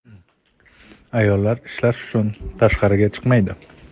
Ayollar ishlash uchun tashqariga chiqmaydi.